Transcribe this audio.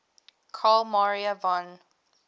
carl maria von